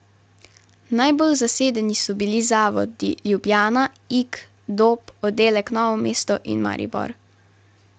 Najbolj zasedeni so bili zavodi Ljubljana, Ig, Dob, oddelek Novo mesto in Maribor.